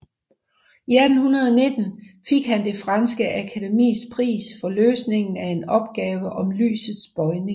I 1819 fik han det franske akademis pris for løsningen af en opgave om lysets bøjning